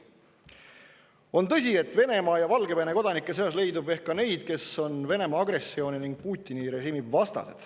On tõsi, et Vene ja Valgevene kodanike seas leidub ehk ka neid, kes on Venemaa agressiooni ning Putini režiimi vastu.